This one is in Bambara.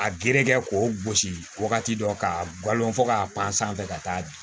A gere kɛ k'o gosi wagati dɔ k'a galon fɔ k'a pan sanfɛ ka taa di